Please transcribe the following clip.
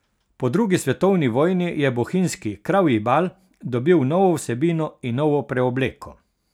Po drugi svetovni vojni je bohinjski Kravji bal dobil novo vsebino in novo preobleko.